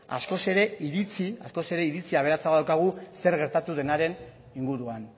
askoz ere iritzi aberatsagoa daukagu zer gertatu denaren inguruan